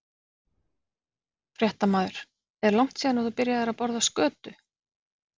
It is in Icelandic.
Fréttamaður: Er langt síðan að þú byrjaðir að borða skötu?